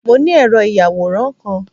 Mo ni ẹ̀rọ ìyàwòràn kan